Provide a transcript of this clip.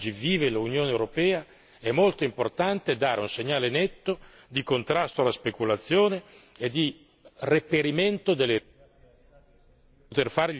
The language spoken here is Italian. Nel quadro politico nel quale oggi vive l'Unione europea, è molto importante dare un segnale netto di contrasto alla speculazione e di reperimento delle...